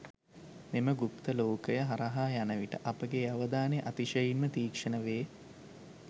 මෙම ගුප්ත ලෝකය හරහා යන විට අපගේ අවධානය අතිශයින්ම තීක්ෂණ වේ.